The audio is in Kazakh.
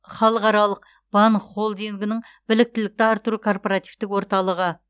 халықаралық банк холдингінің біліктілікті арттыру корпоративтік орталығы